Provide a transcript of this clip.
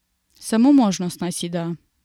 Samo možnost naj si da.